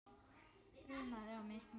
Þrumaði á mitt markið.